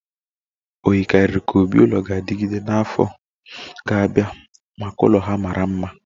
O yikarịrị ka obi-ulo ga-anọgide na afọ ga-abịa maka ụlọ ha mara mma